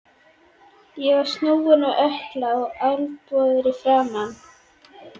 Ég var snúinn á ökkla og alblóðugur í framan.